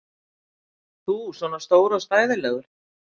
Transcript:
Þú svona stór og stæðilegur!